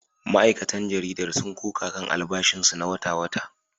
Ma’aikatan jaridar sun koka kan albashinsu na wata-wata